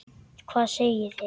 Hvað segið þér?